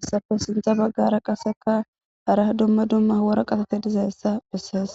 issafe shincha baggara qaseka hara dumma dumma wora qatate dizaessa bissees